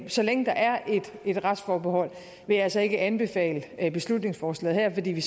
så længe der er et retsforbehold vil jeg altså ikke anbefale beslutningsforslaget her fordi vi